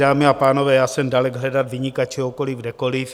Dámy a pánové, já jsem dalek hledat viníka čehokoliv kdekoliv.